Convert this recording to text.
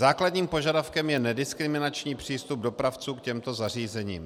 Základním požadavkem je nediskriminační přístup dopravců k těmto zařízením.